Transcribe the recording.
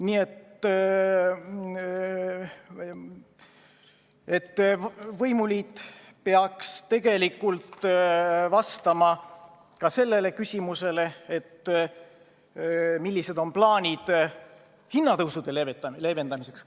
Nii et võimuliit peaks tegelikult vastama ka küsimusele, millised on plaanid hinnatõusude leevendamiseks.